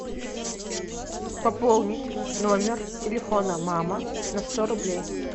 пополнить номер телефона мама на сто рублей